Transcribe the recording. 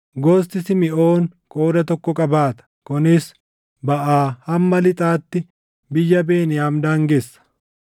Gosti Simiʼoon qooda tokko qabaata; kunis baʼaa hamma lixaatti biyya Beniyaam daangessa.